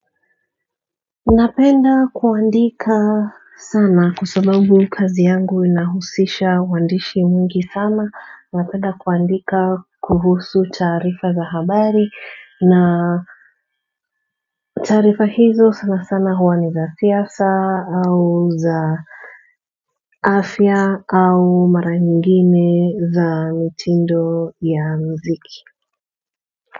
Napenda kuandika sana kwasababu kazi yangu inahusisha uandishi mwingi sana napenda kuandika kuhusu taarifa za habari na taarifa hizo sana sana huani za siasa au za afya au maranyingine za mitindo ya muziki.